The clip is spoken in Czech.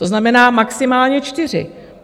To znamená maximálně čtyři.